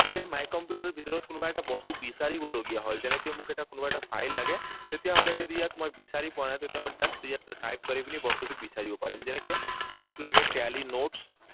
যে my computer ৰ ভিতৰত কোনোবা এটা বস্তু বিচাৰিবলগীয়া হয়। যেনেকৈ মোক এটা কোনোবা এটা ফাইল লাগে, তেতিয়াহলে মই যদি ইয়াত বিচাৰি পোৱা নাই, তেতিয়া মই just ইয়াত টাইপ কৰি পিনি বস্তুটো বিচাৰিব পাৰিম। যেনেকৈ মোক ইয়াত লগে tally notes